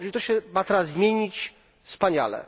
Jeżeli to się ma teraz zmienić wspaniale!